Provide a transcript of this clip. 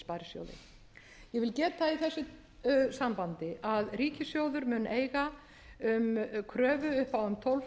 sparisjóði ég vil geta þess í þessu sambandi að ríkissjóður mun eiga kröfu upp á um tólf